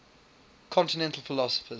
continental philosophers